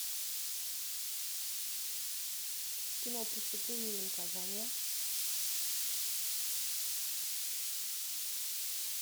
кино преступление и наказание